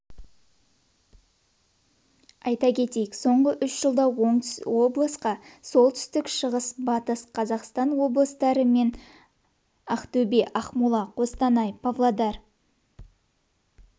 айта кетейік соңғы үш жылда облысқа солтүстік шығыс батыс қазақстан облыстары мен ақтөбе ақмола қостанай павлодар